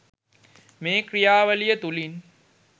මේ ක්‍රියාවලිය තුළින්